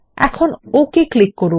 এখন okay click করুন